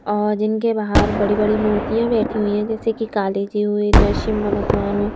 और जिनके बाहर बड़ी बड़ी मूर्तियां बैठी हुई हैं जैसे कि काली जी हुई नरसिम्हा भगवान हुए।